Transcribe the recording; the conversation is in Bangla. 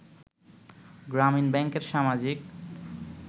গ্রামীন ব্যাংকের সামাজিক